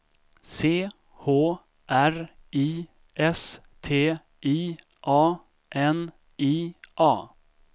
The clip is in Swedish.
C H R I S T I A N I A